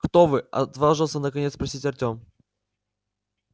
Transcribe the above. кто вы отважился наконец спросить артём